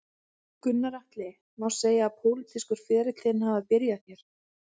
Gunnar Atli: Má segja að pólitískur ferill þinn hafi byrjað hér?